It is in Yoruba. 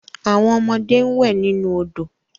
Awon omode n we ninu odo